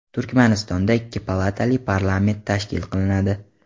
Turkmanistonda ikki palatali parlament tashkil qilinadi.